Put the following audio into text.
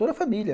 Toda a família.